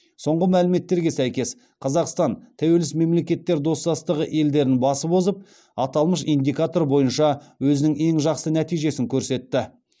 соңғы мәліметтерге сәйкес қазақстан тәуелсіз мемлекеттер достастығы елдерін басып озып аталмыш индикатор бойынша өзінің ең жақсы нәтижесін көрсетті